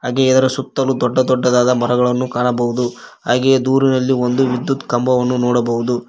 ಹಾಗೆ ಇದರ ಸುತ್ತಲೂ ದೊಡ್ಡ ದೊಡ್ಡದಾದ ಮರಗಳನ್ನು ಕಾಣಬಹುದು ಹಾಗೆಯೇ ದೂರದಲ್ಲಿ ಒಂದು ವಿದ್ಯುತ್ ಕಂಬವನ್ನು ನೋಡಬಹುದು.